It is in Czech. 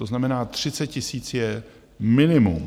To znamená 30 000 je minimum.